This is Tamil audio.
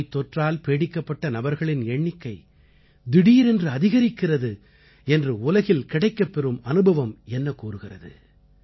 நோய்த்தொற்றால் பீடிக்கப்பட்ட நபர்களின் எண்ணிக்கை திடீரென்று அதிகரிக்கிறது என்று உலகில் கிடைக்கப்பெறும் அனுபவம் என்ன கூறுகிறது